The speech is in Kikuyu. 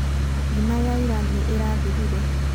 ngima ya ira nĩ ĩraathirire